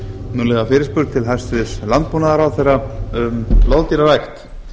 munnlega fyrirspurn til hæstvirts landbúnaðarráðherra um loðdýrarækt